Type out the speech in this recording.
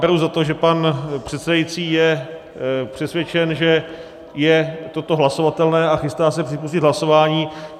Beru za to, že pan předsedající je přesvědčen, že je toto hlasovatelné a chystá se připustit hlasování.